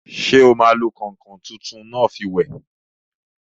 Ṣé o máa fi kọ̀nkọ̀n tí tẹ́lẹ̀ náà wẹ̀?